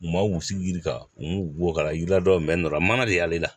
U ma wusu yirika n ko ka na ji la dɔ nana mana de y'ale la